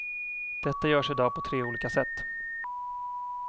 Detta görs i dag på tre olika sätt.